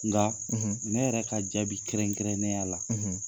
Nga ne yɛrɛ ka jaabi kɛrɛnkɛrɛnnen ya la.